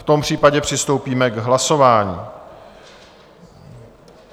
V tom případě přistoupíme k hlasování.